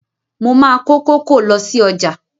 Mo máa ko kókò lọ sí ọjà.